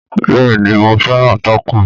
Bẹ́ẹ̀ ni, mo fẹ́ràn tákò.